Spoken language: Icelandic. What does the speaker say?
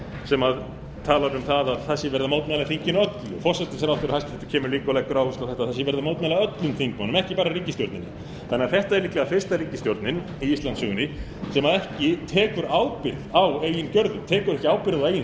sem talaði um að það sé verið að mótmæla þinginu öllu hæstvirtur forsætisráðherra kemur líka og leggur áherslu á að verið sé að mótmæla öllum þingmönnum ekki bara ríkisstjórninni þannig að þetta er líklega fyrsta ríkisstjórnin í íslandssögunni sem ekki tekur ábyrgð á eigin gerðum tekur ekki ábyrgð á eigin